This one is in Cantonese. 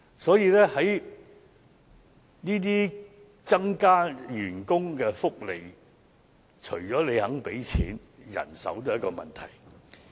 所以，增加員工福利除了要願意付錢，人手也是一個問題。